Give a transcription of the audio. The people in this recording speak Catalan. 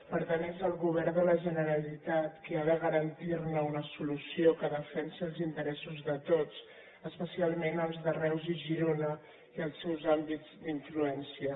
per tant és el govern de la generalitat qui ha de garantir ne una solució que defensi els interessos de tots especialment els de reus i girona i els seus àmbits d’influència